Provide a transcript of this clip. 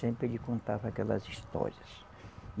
Sempre ele contava aquelas histórias.